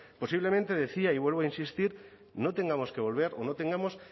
posiblemente decía y vuelvo a insistir no tengamos que volver o no tengamos